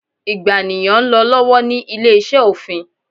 ìgbàniyàn n lọ lọwọlọwọ ni ile-iṣẹ ofin